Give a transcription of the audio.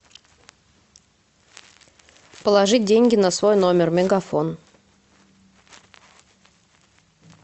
положить деньги на свой номер мегафон